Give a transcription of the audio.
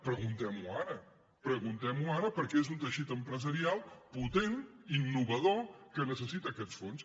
preguntem ho ara preguntem ho ara perquè és un teixit empresarial potent innovador que necessita aquests fons